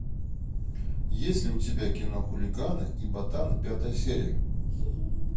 есть ли у тебя кино хулиганы и ботаны пятая серия